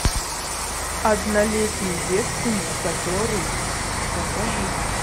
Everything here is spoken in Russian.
однолетний девственник который покажи